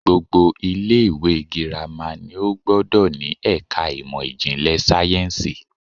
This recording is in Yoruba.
Gbogbo ilé ìwé girama ni ó gbódò ni èka ìmò ìjìnlè sáyénsì